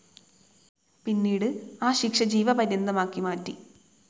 പിന്നീട് ആ ശിക്ഷ ജീവപര്യന്തമാക്കി മാറ്റി.